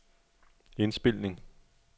indspilning